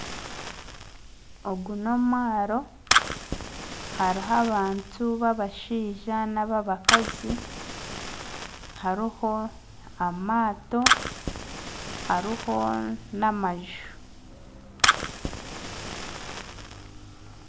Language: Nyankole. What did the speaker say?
Ogu n'omwaro hariho abantu b'abashaija n'abakazi hariho amaato, hariho n'amaju.